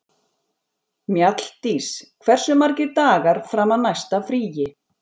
Mjalldís, hversu margir dagar fram að næsta fríi?